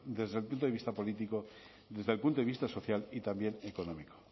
desde el punto de vista político desde el punto de vista social y también económico